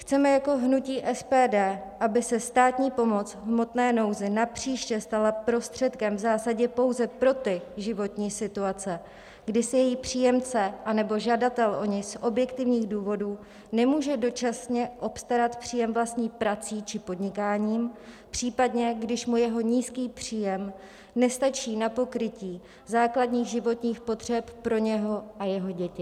Chceme jako hnutí SPD, aby se státní pomoc v hmotné nouzi napříště stala prostředkem v zásadě pouze pro ty životní situace, kdy si její příjemce anebo žadatel o ni z objektivních důvodů nemůže dočasně obstarat příjem vlastní prací či podnikáním, případně když mu jeho nízký příjem nestačí na pokrytí základních životních potřeb pro něho a jeho děti.